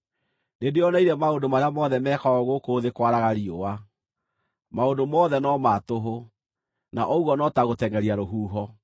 Nĩndĩĩoneire maũndũ marĩa mothe mekagwo gũkũ thĩ kwaraga riũa; maũndũ mothe no ma tũhũ, na ũguo no ta gũtengʼeria rũhuho.